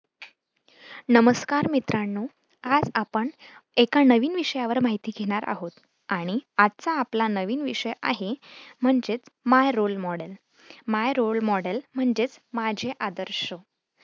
नमस्कार मित्रांनो आज आपण एका नवीन विषयावर माहिती घेणार आहोत आणि आजचा आपला नवीन विषय आहे म्हणजेच my role modelmy role model म्हणजेच माझे आदर्श